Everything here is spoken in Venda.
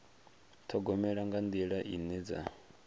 ṱhogomela nga nḓila ine dza